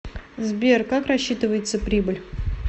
сбер как рассчитывается прибыль